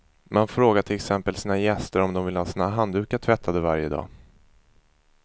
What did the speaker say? Man frågar till exempel sina gäster om de vill ha sina handdukar tvättade varje dag.